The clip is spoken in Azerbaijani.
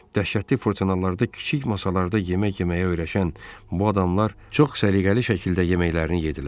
Dəhşətli fırtınalarda kiçik masalarda yemək yeməyə öyrəşən bu adamlar çox səliqəli şəkildə yeməklərini yeddilər.